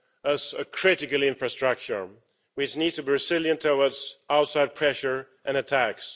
as a critical infrastructure, which needs to be resilient towards outside pressure and attacks.